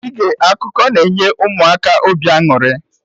Ige akụkọ na-enye Ụmụaka obi aṅụrị